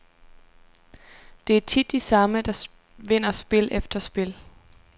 Det er tit de samme, der vinder spil efter spil.